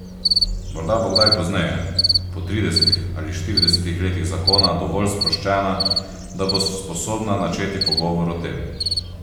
Morda bo kdaj pozneje, po tridesetih ali štiridesetih letih zakona, dovolj sproščena, da bo sposobna načeti pogovor o tem.